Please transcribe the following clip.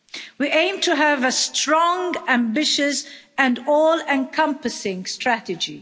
We aim to have a strong, ambitious and all-encompassing strategy.